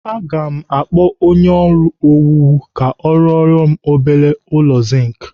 Aga m akpọ onye ọrụ owuwu ka ọ rụora m obere ụlọ zink.